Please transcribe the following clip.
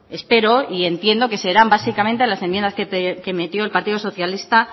espero y entiendo que serán básicamente las enmiendas que metió el partido socialista